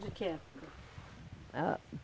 de que época? Ãh